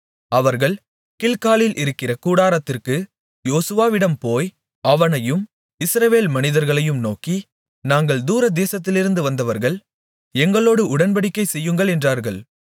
அவர்கள் கில்காலில் இருக்கிற கூடாரத்திற்கு யோசுவாவிடம் போய் அவனையும் இஸ்ரவேல் மனிதர்களையும் நோக்கி நாங்கள் தூரதேசத்திலிருந்து வந்தவர்கள் எங்களோடு உடன்படிக்கைசெய்யுங்கள் என்றார்கள்